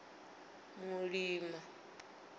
mulima